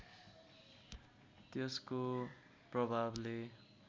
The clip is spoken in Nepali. त्यसको प्रभावले